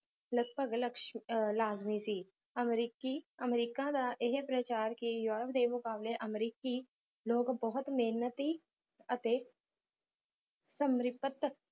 ਲਗਪਗ ਲਕਸ਼ ਲਾਜਮੀ ਸੀ ਅਮਰੀਕੀ ਅਮਰੀਕਾ ਦਾ ਇਹ ਪ੍ਰਚਾਰ ਕਿ ਯੂਰੋਪ ਦੇ ਮੁਕਾਬਲੇ ਅਮਰੀਕੀ ਲੋਕ ਬਹੁਤ ਮਿਹਨਤੀ ਅਤੇ ਸਮਰਪਿਤ